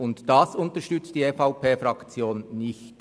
Dies unterstützt die EVP-Fraktion nicht.